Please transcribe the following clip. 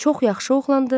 Çox yaxşı oğlandı.